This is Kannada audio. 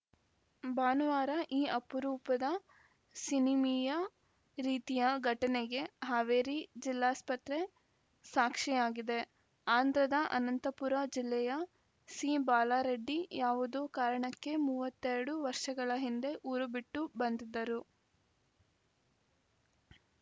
ಭಾನುವಾರ ಈ ಅಪರೂಪದ ಸಿನಿಮೀಯ ರೀತಿಯ ಘಟನೆಗೆ ಹಾವೇರಿ ಜಿಲ್ಲಾಸ್ಪತ್ರೆ ಸಾಕ್ಷಿಯಾಗಿದೆ ಆಂಧ್ರದ ಅನಂತಪುರ ಜಿಲ್ಲೆಯ ಸಿಬಾಲರೆಡ್ಡಿ ಯಾವುದೋ ಕಾರಣಕ್ಕೆ ಮೂವತ್ತ್ ಎರಡು ವರ್ಷಗಳ ಹಿಂದೆ ಊರು ಬಿಟ್ಟು ಬಂದಿದ್ದರು